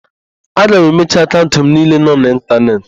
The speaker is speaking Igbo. Aga m emechi akaụnt m niile nọ n'ịntanetị.